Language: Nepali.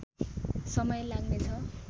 समय लाग्ने छ